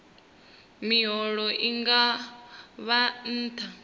miholo i nga vha nṱha